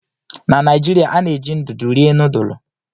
Na Naijiria, a na-eji ndụdụ rie nudulu.